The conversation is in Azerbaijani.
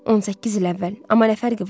18 il əvvəl, amma nə fərqi var?